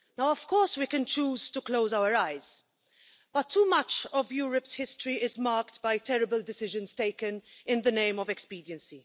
Of course we can choose to close our eyes, but too much of Europe's history is marked by terrible decisions taken in the name of expediency.